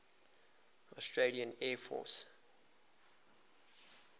australian air force